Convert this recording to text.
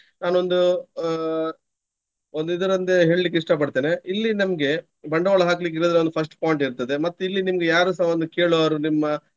ನಾನೊಂದು ಅಹ್ ಒಂದು ಇದರೊಂದೆ ಹೇಳ್ಲಿಕ್ಕೆ ಇಷ್ಟ ಪಡ್ತೇನೆ. ಇಲ್ಲಿ ನಮ್ಗೆ ಬಂಡವಾಳ ಹಾಕ್ಲಿಕ್ಕೆ ಇದರದ್ದೊಂದು first point ಇರ್ತದೆ. ಮತ್ತೆ ಇಲ್ಲಿ ನಿಮ್ಗೆ ಯಾರುಸ ಒಂದು ಕೇಳುವರು ನಿಮ್ಮ.